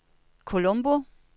Colombo